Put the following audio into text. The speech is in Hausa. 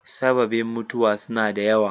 Sababen mutuwa suna da yawa.